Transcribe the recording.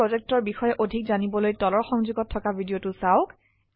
spoken tutorial projectৰ বিষয়ে অধিক জানিবলৈ তলৰ সংযোগত থকা ভিডিঅ চাওক